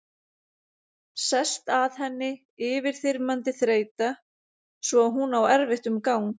Sest að henni yfirþyrmandi þreyta svo að hún á erfitt um gang.